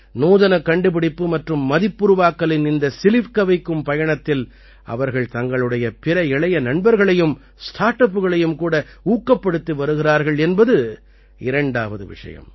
நூதனக் கண்டுபிடிப்பு மற்றும் மதிப்புருவாக்கலின் இந்த சிலிர்க்கவைக்கும் பயணத்தில் அவர்கள் தங்களுடைய பிற இளைய நண்பர்களையும் ஸ்டார்ட் அப்புகளையும் கூட ஊக்கப்படுத்தி வருகிறார்கள் என்பது இரண்டாவது விஷயம்